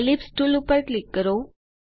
ellipse tool પર click કરો